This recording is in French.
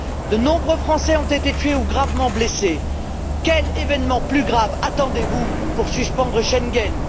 De nombreux Français ont été tués ou gravement blessés. Quel événement plus grave attendez vous pour suspendre Schengen?